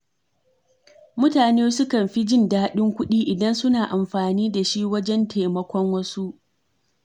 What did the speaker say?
Mutane sukan fi jin daɗin kuɗi idan suna amfani da shi wajen taimakon wasu.